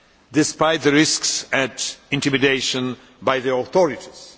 of human rights, despite the risks of intimidation by